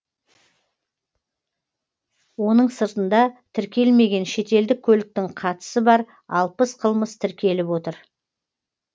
оның сыртында тіркелмеген шетелдік көліктің қатысы бар алпыс қылмыс тіркеліп отыр